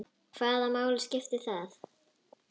Hvaða máli skiptir það?